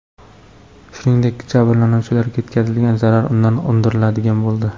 Shuningdek, jabrlanuvchilarga yetkazilgan zarar undan undiriladigan bo‘ldi.